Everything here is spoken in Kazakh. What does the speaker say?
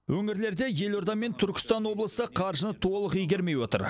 өңірлерде елорда мен түркістан облысы қаржыны толық игермей отыр